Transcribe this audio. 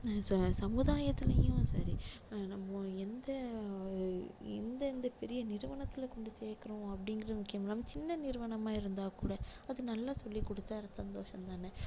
அஹ் ச~சமுதாயத்துலேயும் சரி நம்ம எந்த எந்தெந்த பெரிய நிறுவனத்துல கொண்டு சேக்குறோம் அப்படின்றது முக்கியம் இல்லாம சின்ன நிறுவனமா இருந்தா கூட அது நல்லா சொல்லி கொடுத்தா அதுல சந்தோஷம் தானே